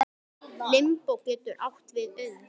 Limbó getur átt við um